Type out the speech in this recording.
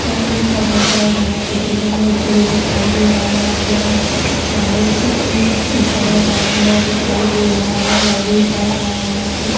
light भी ऊपर मे जल रहा है कुछ दिखाई दे रहा है | यहाँ पे ना यहां पे कुछ ऊपर में टंगा हुआ दिखाई दे रहा है और लाइट भी जल रहा है और यहां पर --